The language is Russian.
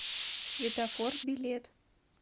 светофор билет